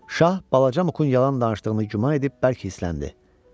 Şah balaca Mukun yalan danışdığını güman edib bərk hissləndi.